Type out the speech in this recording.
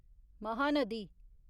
Mahanadi